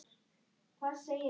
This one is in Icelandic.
Hún var orðin því vön.